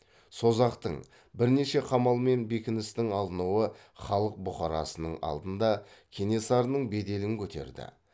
созақтың бірнеше қамал мен бекіністің алынуы халық бұқарасының алдында кенесарының беделін көтерді